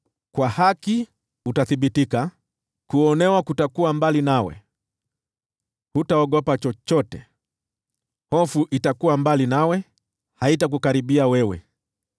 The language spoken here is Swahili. Kwa haki utathibitika: Kuonewa kutakuwa mbali nawe; hutaogopa chochote. Hofu itakuwa mbali nawe; haitakukaribia wewe.